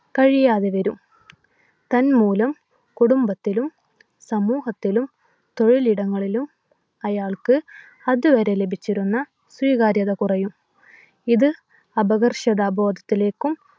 കഴിയാതെ വരും. തന്മൂലം കുടുംബത്തിലും സമൂഹത്തിലും തൊഴിലിടങ്ങളിലും അയാൾക്ക് അതുവരെ ലഭിച്ചിരുന്ന സ്വീകാര്യത കുറയും. ഇത് അപകർഷതാ ബോധത്തിലേക്കും